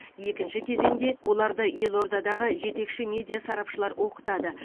екінші кезеңде оларды елордадағы жетекші медиа сарапшылар оқытады